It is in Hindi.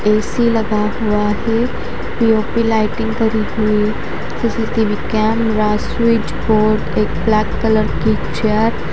ए_सी लगा हुआ है पी_ओ_पी लाइटिंग करी हुई किसी के विज्ञान स्विच बोर्ड एक ब्लैक कलार की चेयर --